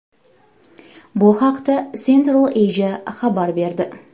Bu haqda Central Asia xabar berdi .